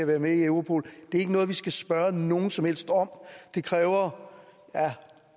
være med i europol det er ikke noget vi skal spørge nogen som helst om det kræver